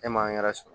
E m'an yɛrɛ sɔrɔ